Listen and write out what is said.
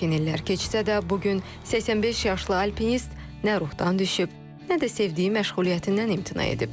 Lakin illər keçsə də, bu gün 85 yaşlı alpinist nə ruhdan düşüb, nə də sevdiyi məşğuliyyətindən imtina edib.